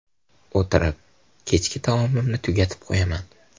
O‘tirib, kechki taomimni tugatib qo‘yaman.